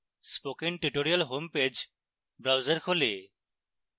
spoken tutorial homepage browser খোলে